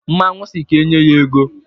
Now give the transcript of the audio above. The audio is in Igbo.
Mmanwụ sị ka enye ya ego.